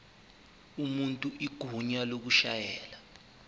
umuntu igunya lokushayela